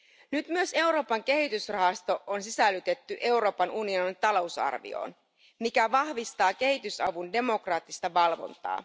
Nyt myös Euroopan kehitysrahasto on sisällytetty Euroopan unionin talousarvioon, mikä vahvistaa kehitysavun demokraattista valvontaa.